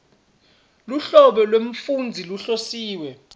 luhlobo lwemfundzi lohlosiwe